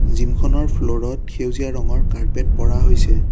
Gym খনৰ ফ্লৰ ত সেউজীয়া ৰঙৰ কাৰ্পেট পৰা হৈছে।